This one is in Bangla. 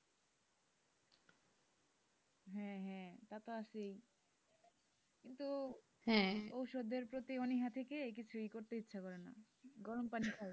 হ্যাঁ হ্যাঁ তা তো আসেই কিন্তু ওষুধের প্রতি অনীহা থেকেই কিছুই করতে ইচ্ছা করে না গরম পানি খাবো।